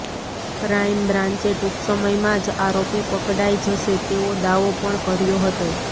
ક્રાઇમબ્રાંચે ટૂંક સમયમાં જ આરોપી પકડાઇ જશે તેવો દાવો પણ કર્યો હતો